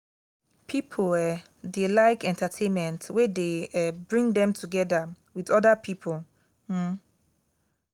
pipo um dey like entertainment wey dey um bring dem together with oda pipo um